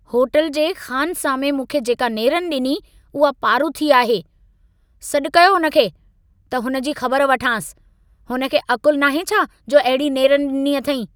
Hotel जे ख़ानसामे मूंखे जेका नेरनि ॾिनी, उहा पारूथी आहे। सॾ कयो हुन खे, त हुन जी ख़बर वठांसि। हुन खे अक़ुल नाहे छा जो अहिड़ी नेरनि ॾिनी अथईं।